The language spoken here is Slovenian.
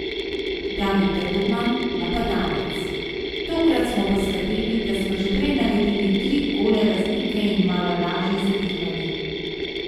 David Rodman, napadalec: 'Tokrat smo poskrbeli, da smo že prej naredili tri gole razlike in malo lažje zadihali.